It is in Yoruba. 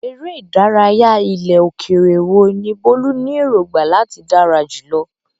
Eré ìdárayá ilẹ̀ òkèèrè wo ni Bolu ní èrògbà láti dára jùlọ?